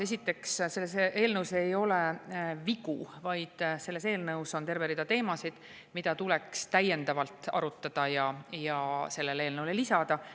Esiteks, selles eelnõus ei ole vigu, vaid selles eelnõus on terve rida teemasid, mida tuleks täiendavalt arutada ja sellele eelnõule lisada.